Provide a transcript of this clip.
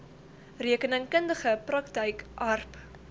rekeningkundige praktyk aarp